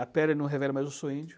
A pele não revela, mas eu sou índio.